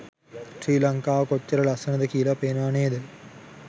ශ්‍රී ලංකාව කොච්චර ලස්සනද කියල පේනවා නේද?